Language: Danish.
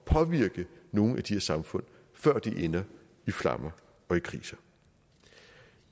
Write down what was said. påvirke nogle af de her samfund før de ender i flammer og i kriser